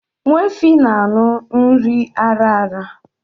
Nwa efi na-an̄ụ nri ara ara